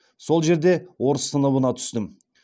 сол жерде орыс сыныбына түстім